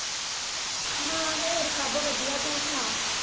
ਹਾਂ ਹੋਰ ਸਬੱਬ ਛਡਿਆ ਤੂੰ ਸੁਣਾ।